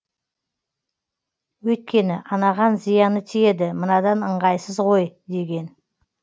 өйткені анаған зияны тиеді мынадан ыңғайсыз ғой деген